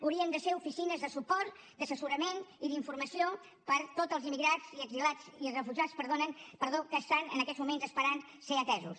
haurien de ser oficines de suport d’assessorament i d’informació per a tots els emigrats i refugiats que estan en aquests moments esperant ser atesos